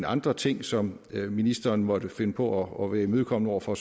andre ting som ministeren måtte finde på at være imødekommende over for